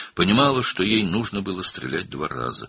Başa düşürdü ki, iki dəfə atəş açmalı idi.